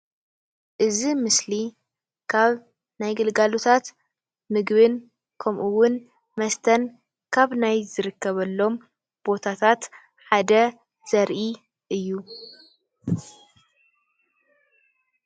እዚ ምስሊ ካብ ናይ ግልጋሎታት ምግብን ከምኡውን መስተን ካብ ናይ ዝርከበሎም ቦታታት ሓደ ዘርኢ እዩ፡፡